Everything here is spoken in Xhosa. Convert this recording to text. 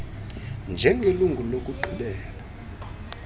r njengelungu lokugqibela